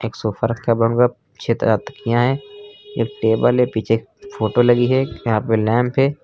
एक सोफा रखा छे तरह तकिया हैं एक टेबल है पीछे एक फोटो लगी है यहां पे लैंप है।